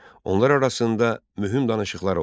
Onlar arasında mühüm danışıqlar oldu.